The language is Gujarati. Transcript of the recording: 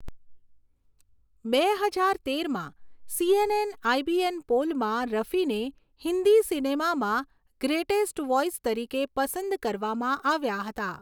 બે હજાર તેરમાં, સીએનએન આઇબીએન પોલમાં રફીને હિન્દી સિનેમામાં ગ્રેટેસ્ટ વોઈસ તરીકે પસંદ કરવામાં આવ્યા હતા.